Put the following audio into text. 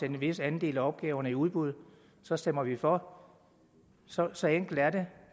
en vis andel af opgaverne i udbud så stemmer vi for så så enkelt er det